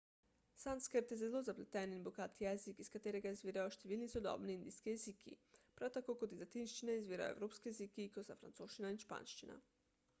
sanskrt je zelo zapleten in bogat jezik iz katerega izvirajo številni sodobni indijski jeziki prav tako kot iz latinščine izvirajo evropski jeziki kot sta francoščina in španščina